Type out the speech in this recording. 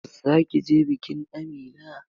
Zaki je bikin Amina?